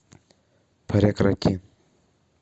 прекрати